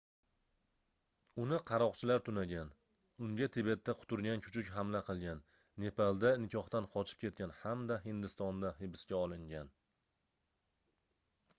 uni qaroqchilar tunagan unga tibetda quturgan kuchuk hamla qilgan nepalda nikohdan qochib ketgan hamda hindistonda hibsga olingan